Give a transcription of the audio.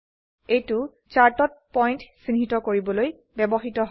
এইটো চাৰ্টত পয়েন্ট চিহ্নিত কৰিবলৈ ব্যবহৃত হয়